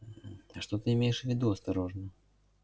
что ты имеешь в виду осторожно